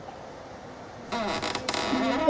Trúlega er það rétt.